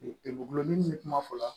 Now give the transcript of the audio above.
Gulɔmin bɛ kuma fɔla